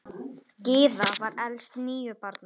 Gyða var elst níu barna.